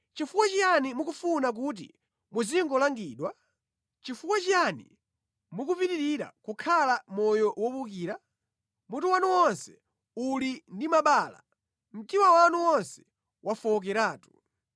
Chifukwa chiyani mukufuna kuti muzingolangidwabe? Chifukwa chiyani mukupitirira kukhala mʼmoyo wowukira? Mutu wanu wonse uli ndi mabala, mtima wanu wonse wafowokeratu.